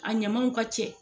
A ɲamaw ka cɛ.